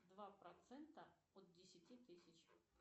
два процента от десяти тысяч